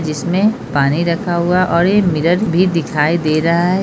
जिसमें पानी रखा हुआ है और ये मिरर भी दिखाई दे रहा है।